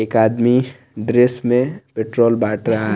एक आदमी ड्रेस में पेट्रोल बाट रा--